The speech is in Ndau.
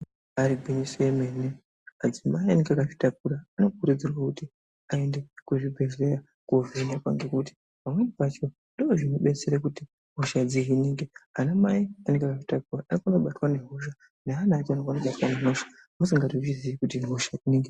Ibari gwinyiso yemene madzimai anenge akazvitakura anokurudzirwa kuti aende kuzvibhedhleya kovhenekwa ngekuti pamweni pacho ndozvinobetsere kuti hosha dzihinike, anamai anenge akazvitakura anokwanisa kubatwa ngehosha neana acho anokwanisa kubatwa ngehosha asingatozviziyi kuti ihosha.